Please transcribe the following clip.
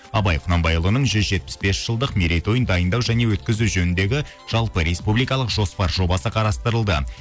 абай құнанбайұлының жүз жетпіс бес жылдық мерейтойын дайындау және өткізу жөніндегі жалпы республикалық жоспар жобасы қарастырылды